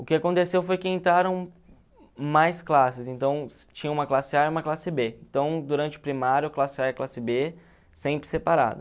O que aconteceu foi que entraram mais classes, então tinha uma classe a e uma classe bê. Então, durante o primário, classe a e classe bê, sempre separada.